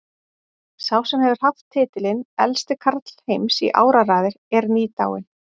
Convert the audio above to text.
Sá sem hefur haft titilinn elsti karl heims í áraraðir er nýdáinn.